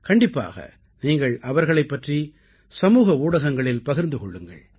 கண்டிப்பாக நீங்கள் அவர்களைப் பற்றி சமூக ஊடகங்களில் பகிர்ந்து கொள்ளுங்கள்